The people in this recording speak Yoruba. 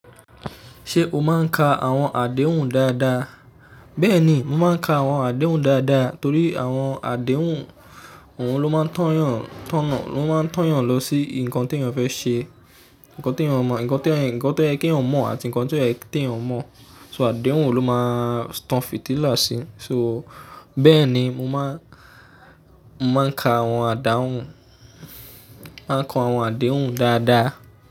Ṣé o máa ń ka àwọn àdéhùn dáadáa? Bẹ́ẹ̀ni, mo máa ń ka àwọn àdéhùn dáadáa torí àwọn àdéhùn, òun ló máa ń tọ́yàn, tọ́nà, ló máa ń tọ́yàn lọ sí nǹkan tó yàn fẹ́ ṣe, nǹkan tó yàn mọ̀, nǹkan tó yẹ kí yàn mọ̀ àti nǹkan tío ye keyan mọ̀. So àdéhùn òun ló máa ń tan fìtílà sí. So bẹ́ẹ̀ ni mo máa ń, mo máa ń ka àwọn àdáhun, máa ń kọ àwọn àdéhùn dáadáa.